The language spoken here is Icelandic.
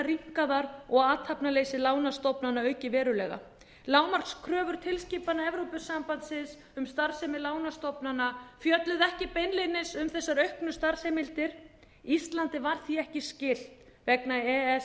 rýmkaðar og athafnaleysi lánastofnana aukið verulega lágmarkskröfur tilskipana evrópusambandsins um starfsemi lánastofnana fjölluðu ekki beinlínis um þessar auknu starfsheimildir íslandi var því ekki skylt vegna e e s